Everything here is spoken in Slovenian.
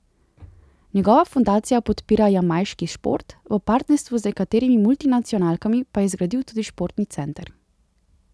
Njegova fundacija podpira jamajški šport, v partnerstvu z nekaterimi multinacionalkami pa je zgradil tudi športni center.